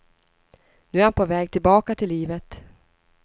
Nu är han på väg tillbaka till livet.